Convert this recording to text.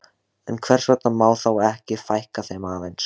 En hvers vegna má þá ekki fækka þeim aðeins?